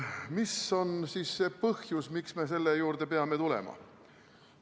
Mis on see põhjus, miks me selle juurde peame tulema?